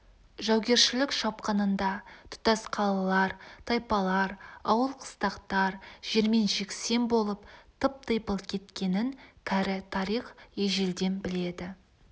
жаугершілік шапқынында тұтас қалалар тайпалар ауыл-қыстақтар жермен-жексен болып тып-типыл кеткенін кәрі тарих ежелден біледі